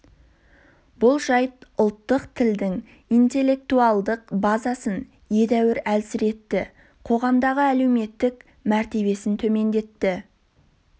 бұл жайт ұлттық тілдің интеллектуалдық базасын едәуір әлсіретті қоғамдағы әлеуметтік мәртебесін төмендетті